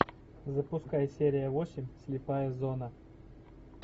запускай серия восемь слепая зона